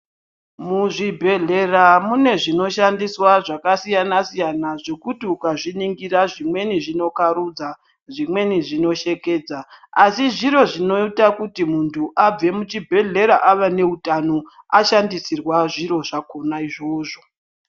Muzvibhedhlera mune zvinoshandiswa zvakasiyana-siyana zvekuti ukazviningira zvimweni zvinokharudza zvimeqwni zvinoshekedza asi zvitro zvinoita kuti muthu above muchibhedhlera aane utano ashandisirwa zviro zvakona izvozvo.